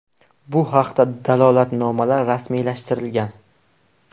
Bu haqda dalolatnomalar rasmiylashtirilgan.